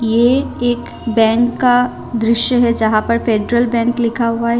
यह एक बैंक का दृश्य है जहां पर फेडरल बैंक लिखा हुआ है।